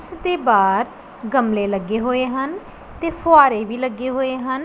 ਇਸ ਦੇ ਬਾਰ ਗਮਲੇ ਲੱਗੇ ਹੋਏ ਹਨ ਤੇ ਫੁਆਰੇ ਵੀ ਲੱਗੇ ਹੋਏ ਹਨ।